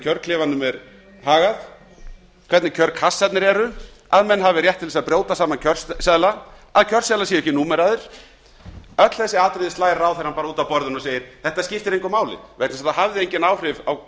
kjörklefanum er hagað hvernig kjörkraftarnir eru að menn hafi rétt til að brjóta saman kjörseðla að kjörseðlarnir séu bak númeraðir öll þessi atriði slær ráðherrann út af borðinu og segir þetta skiptir engu máli vegna þess að það hafði engin áhrif á